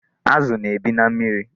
Azụ na-ebi na mmiri.